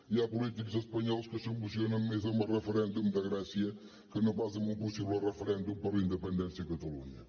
hi ha polítics espanyols que s’emocionen més amb el referèndum de grècia que no pas amb un possible referèndum per la independència a catalunya